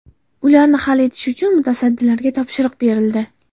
Ularni hal etish uchun mutasaddilarga topshiriq berildi.